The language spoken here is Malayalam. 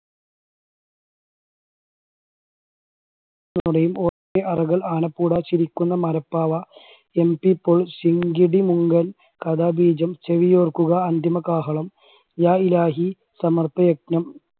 ആനപ്പൂട, ചിരിക്കുന്ന മരപ്പാവ, MT പോൾ, ശിങ്കിടിമുങ്കൻ, കഥാ ബീജം, ചെവിയോർക്കുക അന്തിമകാഹളം, യാ ഹിലാഹി, സമർപ്പ യജ്ഞം